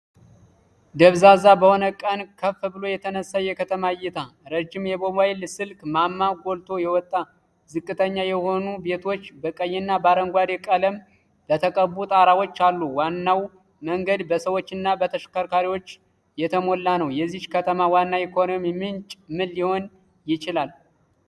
ደብዛዛ በሆነ ቀን ከፍ ብሎ የተነሳ የከተማ እይታ። ረጅም የሞባይል ስልክ ማማ ጎልቶ ወጣ። ዝቅተኛ የሆኑ ቤቶች በቀይና በአረንጓዴ ቀለም በተቀቡ ጣራዎች አሉ። ዋናው መንገድ በሰዎችና በተሽከርካሪዎች የተሞላ ነው። የዚህች ከተማ ዋና የኢኮኖሚ ምንጭ ምን ሊሆን ይችላል?